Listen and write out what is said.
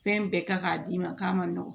Fɛn bɛɛ kan k'a d'i ma k'a ma nɔgɔn